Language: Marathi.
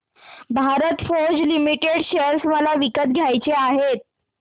भारत फोर्ज लिमिटेड शेअर मला विकत घ्यायचे आहेत